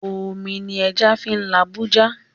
Omi ni ẹja fín labú já